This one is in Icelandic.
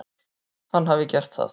Hann hafi gert það.